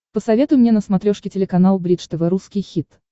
посоветуй мне на смотрешке телеканал бридж тв русский хит